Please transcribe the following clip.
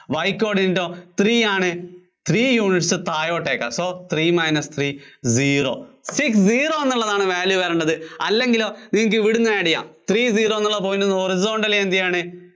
Y coordinate ഒ three ആണ്. three units താഴോട്ടേക്ക്. so three minus three zero. six zero എന്നുള്ളതാണ് value വരണത്. അല്ലെങ്കിലോ നിങ്ങള്‍ക്ക് ഇവിടുന്ന് add ചെയ്യാം. three zero എന്നുള്ള point horizonatally എന്താണ്